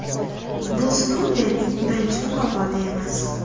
Bu Snoudenning birinchi mukofoti emas.